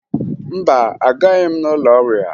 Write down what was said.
Mba, agaghị m n'ụlọ ọrịa